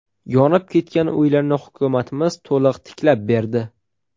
Yonib ketgan uylarni hukumatimiz to‘liq tiklab berdi.